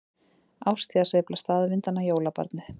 Árstíðasveifla staðvindanna- jólabarnið